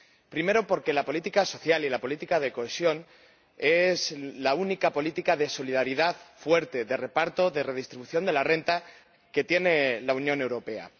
Primero, porque la política social y de cohesión es la única política de solidaridad fuerte de reparto, de redistribución de la renta que tiene la Unión Europea.